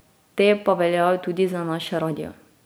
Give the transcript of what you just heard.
Te pa veljajo tudi za naš radio.